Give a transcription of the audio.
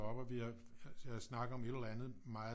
Og vi havde snakket om et eller andet meget